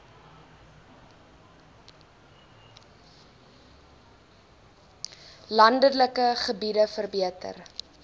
landelike gebiede verbeter